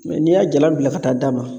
Mɛ n'i y'a jalan bila ka taa d'a ma